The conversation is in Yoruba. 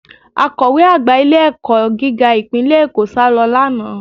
Akọ̀we àgbà ilé-ẹ̀kọ́ gíga ìpínlẹ̀ Èkó sálọ lánàá